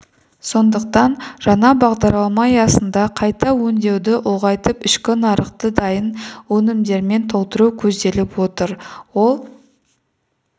сондықтан жаңа бағдарлама аясында қайта өңдеуді ұлғайтып ішкі нарықты дайын өнімдермен толтыру көзделіп отыр ол